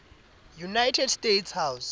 united states house